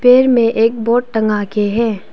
पेड़ में एक बोर्ड टंगा के है।